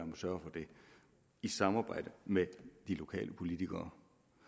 må sørge for det i samarbejde med de lokale politikere